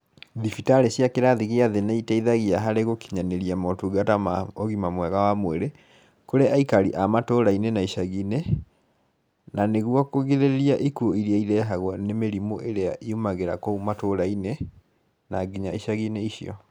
Thibitarĩ cia kĩrathi gĩa thĩ nĩ iteithagia harĩ gũkinyanĩria motungata ma ũgima mwega wa mwĩrĩ, kũrĩ aikari a matῦrainĩ na icaginĩ na nĩguo kũgirĩrῖria ikuũ iria irehagwo nĩ mĩrimũ ĩrĩa yumagĩra kũu matũũra-inĩ na nginya icagi-inĩ icio.